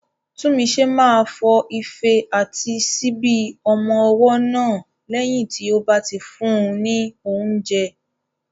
Tunmise máa fọ ife àti síbi ọmọ ọwọ́ náà lẹ́yìn tí ó bá ti fún un ní oúnjẹ.